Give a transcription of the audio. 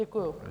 Děkuji.